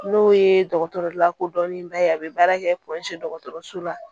N'o ye dɔgɔtɔrɔ lakodɔnnenba ye a bɛ baara kɛ dɔgɔtɔrɔso la